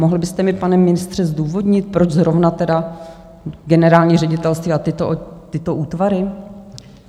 Mohl byste mi, pane ministře, zdůvodnit, proč zrovna tedy generální ředitelství a tyto útvary?